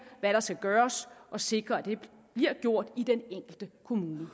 hvad der skal gøres og sikre at det bliver gjort i den enkelte kommune